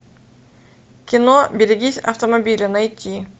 кино берегись автомобиля найти